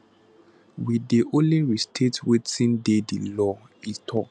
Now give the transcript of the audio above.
we dey only restate wetin dey di law e tok